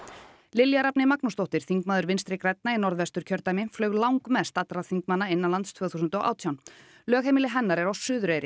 Lilja Rafney Magnúsdóttir þingmaður Vinstri grænna í Norðvesturkjördæmi flaug langmest allra þingmanna innanlands tvö þúsund og átján lögheimili hennar er á Suðureyri